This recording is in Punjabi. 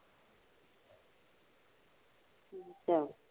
ਅੱਛਾ